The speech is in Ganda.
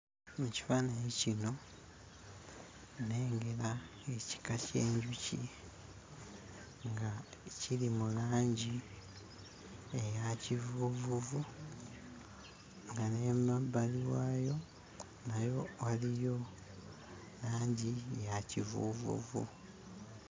Mu kifaananyi kino nnengera ekika ky'enjuki nga kiri mu langi eya kivuuvuvu nga n'emabbali waayo nayo waliyo langi ya kivuuvuvu.